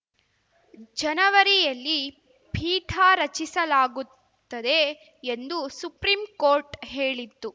ಜನವರಿಯಲ್ಲಿ ಪೀಠ ರಚಿಸಲಾಗುತ್ತದೆ ಎಂದು ಸುಪ್ರೀಂ ಕೋರ್ಟ್‌ ಹೇಳಿತ್ತು